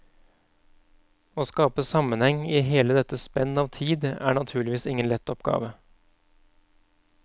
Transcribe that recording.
Å skape sammenheng i hele dette spenn av tid er naturligvis ingen lett oppgave.